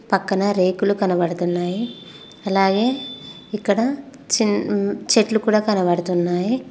పక్కన రేకులు కనబడుతున్నాయి అలాగే ఇక్కడ చెట్లు కూడా కనబడుతున్నాయి.